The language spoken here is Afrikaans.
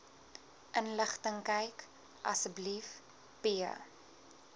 inligtingkyk asb p